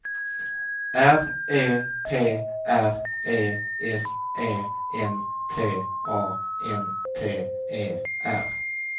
R E P R E S E N T A N T E R